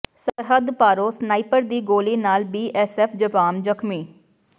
ਸਰਹੱਦ ਪਾਰੋਂ ਸਨਾਈਪਰ ਦੀ ਗੋਲੀ ਨਾਲ ਬੀਐੱੋਸਐੱਫ ਜਵਾਨ ਜ਼ਖ਼ਮੀ